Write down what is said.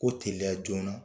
Ko teliya joona.